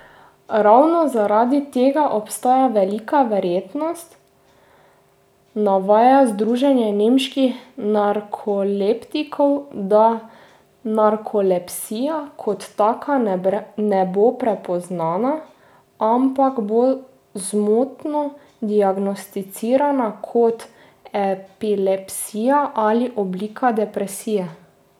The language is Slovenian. Ravno zaradi tega obstaja velika verjetnost, navaja združenje nemških narkoleptikov, da narkolepsija kot taka ne bo prepoznana, ampak bo zmotno diagnosticirana kot epilepsija ali oblika depresije.